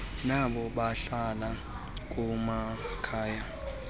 nabo bahlala kumakhaya